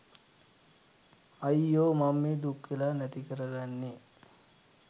අයියෝ මං මේ දුක්වෙලා නැති කරගන්නෙ